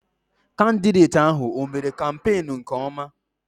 Kandideti ahụ, ọ mère kampenu nke ọma?